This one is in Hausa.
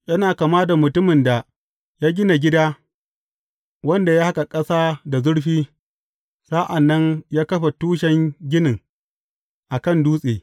Yana kama da mutumin da ya gina gida, wanda ya haƙa ƙasa da zurfi, sa’an nan ya kafa tushen ginin a kan dutse.